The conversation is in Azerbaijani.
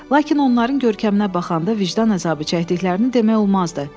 Lakin onların görkəminə baxanda vicdan əzabı çəkdiklərini demək olmazdı.